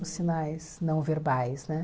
Os sinais não verbais, né?